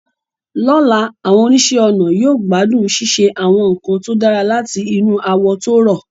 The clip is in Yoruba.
Lọ́la, àwọn oníṣẹ́-ọnà yóò gbádùn ṣíṣe àwọn nǹkan tó dára láti inú awọ tó rọ̀.